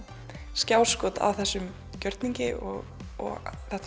skjáskot af þessum gjörningi og þetta